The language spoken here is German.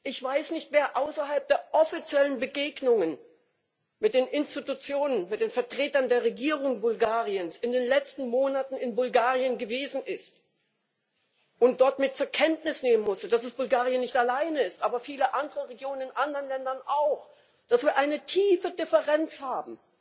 Ich weiß nicht, wer außerhalb der offiziellen Begegnungen mit den Institutionen, mit den Vertretern der Regierung Bulgariens in den letzten Monaten in Bulgarien gewesen ist und dort zur Kenntnis nehmen musste, dass es nicht allein Bulgarien ist, sondern viele andere Regionen in anderen Ländern auch, dass wir eine tiefe Differenz haben